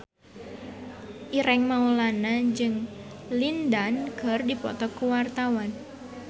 Ireng Maulana jeung Lin Dan keur dipoto ku wartawan